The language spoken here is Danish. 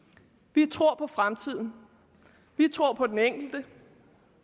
vi tror på fremtiden vi tror på den enkelte